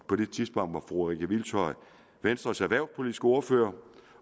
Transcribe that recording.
på det tidspunkt var fru rikke hvilshøj venstres erhvervspolitiske ordfører